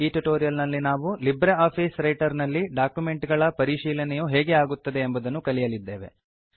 ಈ ಟ್ಯುಟೋರಿಯಲ್ ನಲ್ಲಿ ನಾವು ಲಿಬ್ರೆ ಆಫೀಸ್ ರೈಟರ್ ನಲ್ಲಿ ಡಾಕ್ಯುಮೆಂಟ್ ಗಳ ಪರಿಶೀಲನೆಯು ಹೇಗೆ ಆಗುತ್ತವೆ ಎಂಬುದನ್ನು ಕಲಿಯಲಿದ್ದೇವೆ